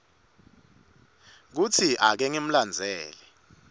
kutsi ake ngimlandzele